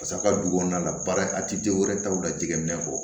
Pase aw ka du kɔnɔna la baara a tɛ denw wɛrɛ taw la jɛgɛminɛ kɔ